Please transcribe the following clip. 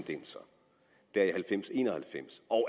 en og halvfems og